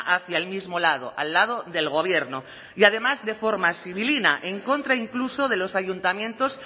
hacia el mismo lado al lado del gobierno y además de forma sibilina en contra incluso de los ayuntamientos